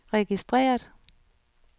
registreret